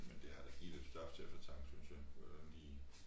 Men det har da givet lidt stof til eftertanke synes jeg hvordan de